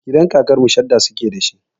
Gidan kakar mu shadda suke da shi.